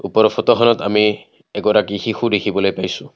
ওপৰৰ ফটোখনত আমি এগৰাকী শিশু দেখিবলৈ পাইছোঁ।